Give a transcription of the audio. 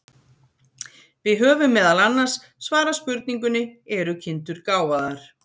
Við höfum meðal annars svarað spurningunni Eru kindur gáfaðar?